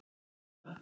Elsku Gudda.